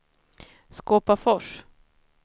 Skåpafors